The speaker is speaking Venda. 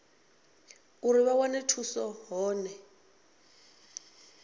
uri vha wane thuso hone